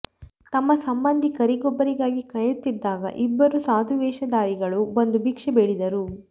ತಮ್ಮ ಸಂಬಂಧಿಕರಿಗೊಬ್ಬರಿಗಾಗಿ ಕಾಯುತ್ತಿದ್ದಾಗ ಇಬ್ಬರು ಸಾಧು ವೇಷಧಾರಿಗಳು ಬಂದು ಭಿಕ್ಷೆ ಬೇಡಿದರು